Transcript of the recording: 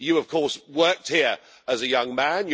You, of course, worked here as a young man